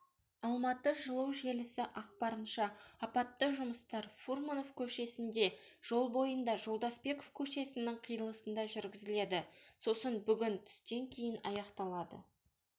алматы жылу желісі ақпарынша апатты жұмыстар фурманов көшесінде жол бойында жолдасбеков көшесінің қиылысында жүргізіледі сосын бүгін түстен кейін аяқталады